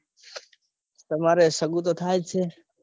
તમારે સગું તો થાય જ છે.